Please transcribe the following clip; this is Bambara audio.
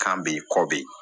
Kan be yen kɔ be yen